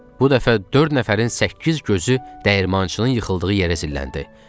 Bu dəfə dörd nəfərin səkkiz gözü dəyirmançının yıxıldığı yerə zilləndi.